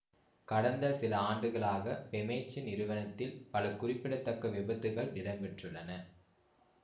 கடந்த சில ஆண்டுகளாக பெமெக்சு நிறுவனத்தில் பல குறிப்பிடத்தக்க விபத்துகள் இடம்பெற்றுள்ளன